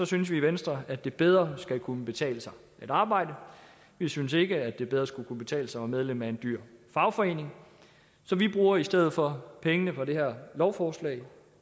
synes vi i venstre at det bedre skal kunne betale sig at arbejde vi synes ikke at det bedre skal kunne betale sig at være medlem af en dyr fagforening så vi bruger i stedet for pengene fra det her lovforslag